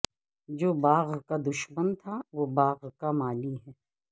جو باغ کا دشمن تھا وہ باغ کا مالی ہے